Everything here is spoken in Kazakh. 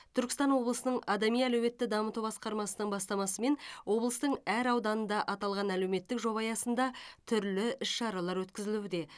түркістан облысының адами әлеуетті дамыту басқармасының бастамасымен облыстың әр ауданда аталған әлеуметтік жоба аясында түрлі іс шаралар өткізілуде